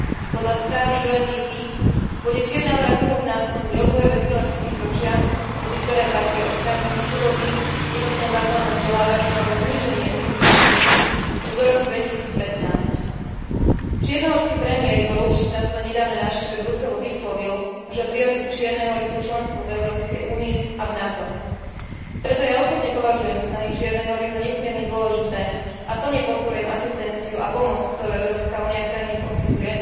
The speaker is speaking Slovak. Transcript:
Podľa správy UNDP bude Čierna Hora schopná splniť rozvojové ciele tisícročia, medzi ktoré patrí odstránenie chudoby, jednotné základné vzdelávanie alebo zníženie úmrtnosti detí, už do roku 2015. Čiernohorský premiér Igor Lukšič sa na svojej nedávnej návšteve Bruselu vyjadril, že priority Čiernej Hory sú členstvo v Európskej únii a v NATO. Preto ja osobne považujem snahy Čiernej Hory za nesmierne dôležité a plne podporujem asistenciu a pomoc, ktorú Európska únia krajine poskytuje,